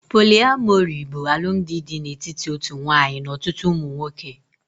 Poliamori bụ alụmdi dị n'etiti otu nwanyị n'ọtụtụ ụmụ nwoke